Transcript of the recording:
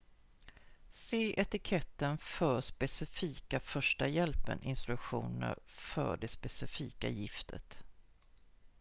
se etiketten för specifika första hjälpen-instruktioner för det specifika giftet